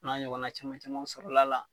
O n'a ɲɔgɔnna caman camanw sɔrɔl'a la